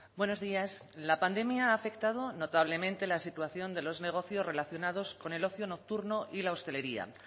buenos días la pandemia ha afectado notablemente la situación de los negocios relacionados con el ocio nocturno y la hostelería